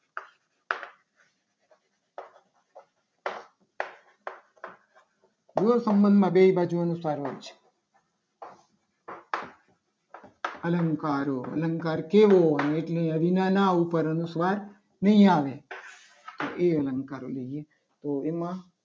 એ બે એ સંબંધમાં બે બાજુ સારું છે. અલંકારો અલંકાર કેવો. એટલે એના ઉપર અનુસ્વાર ના આવે નહીં. આવે એ અલંકારો લેજે. તો એમાં